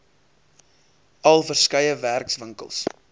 al verskeie werkswinkels